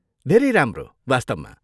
धेरै राम्रो, वास्तवमा।